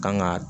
Kan ga